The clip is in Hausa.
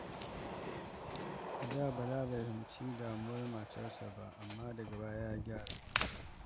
A da, Bala bai fahimci damuwar matarsa ba, amma daga baya ya gyara.